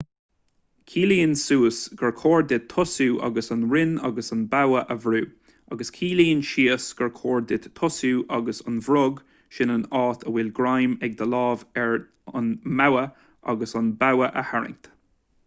ciallaíonn suas gur chóir duit tosú ag an rinn agus an bogha a bhrú agus ciallaíonn síos gur chóir duit tosú ag an bhfrog sin an áit a bhfuil greim ag do lámh ar an mbogha agus an bogha a tharraingt